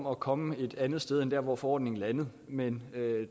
at komme et andet sted hen end der hvor forordningen landede men